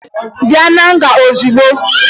Bịa na nga ozugbo!